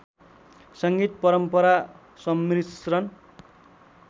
संगीत परम्परा सम्मिश्रण